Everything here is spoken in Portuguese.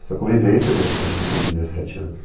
Essa convivência né, convivência de dezessete anos.